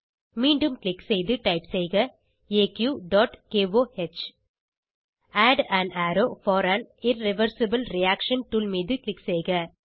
மீண்டும் க்ளிக் செய்து டைப் செய்க aqகோஹ் add an arrow for an irreversible reaction tool மீது க்ளிக் செய்க